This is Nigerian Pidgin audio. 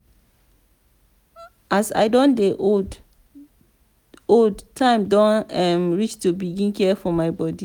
as i don dey old time don reach to begin care for my bodi.